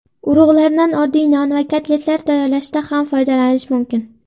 Urug‘lardan oddiy non va kotletlar tayyorlashda ham foydalanish mumkin.